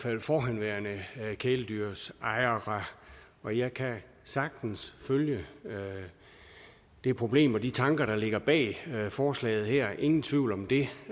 fald forhenværende kæledyrsejere og jeg kan sagtens følge det problem og de tanker der ligger bag forslaget her ingen tvivl om det